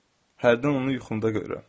Hərdən onu yuxumda görürəm.